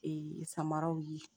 Ee samaraw ye